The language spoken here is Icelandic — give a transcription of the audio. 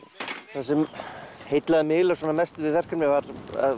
það sem heillaði mig eiginlega mest við verkefnið var